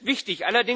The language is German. Das ist wichtig.